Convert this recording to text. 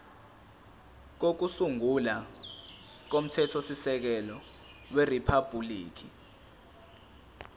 kokusungula komthethosisekelo weriphabhuliki